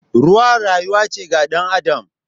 Ruwa rayuwa ce ga dan Adam.